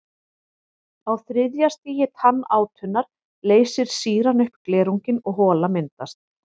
Á þriðja stigi tannátunnar leysir sýran upp glerunginn og hola myndast.